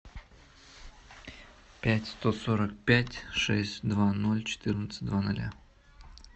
пять сто сорок пять шесть два ноль четырнадцать два ноля